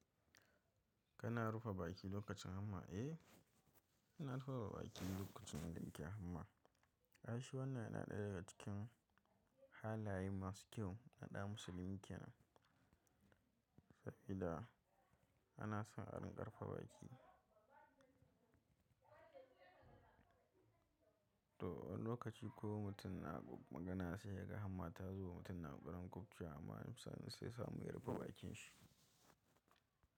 Kana rufe baki lokacin hamma? Eh, ina rufe baki lokacin da nike hamma. A shi wan nan yana ɗaya daga cikin halayen masu kyau na ɗa musulmi kyan fa’ida ana son a rinƙa ripa baki. To, wani lokaci ko mutum na magana sai ya ga hamma ta zo wa mutum na ƙoƙarin kufcewa amma musa sai ya samu ya rufe bakin shi.